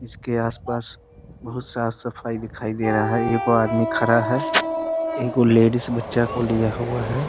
इसके आस-पास बहुत साफ़ सफाई दिखाई दे रहा है । एगो आदमी खड़ा है । एगो लेडिस बच्चे को लिया हुआ है ।